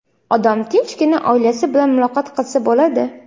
odam tinchgina oilasi bilan muloqot qilsa bo‘ladi.